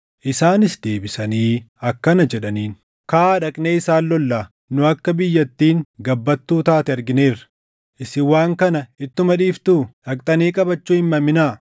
Isaanis deebisanii akkana jedhaniin; “Kaʼaa dhaqnee isaan lollaa! Nu akka biyyattiin gabbattuu taate argineerra. Isin waan kana ittuma dhiiftuu? Dhaqxanii qabachuu hin maminaa.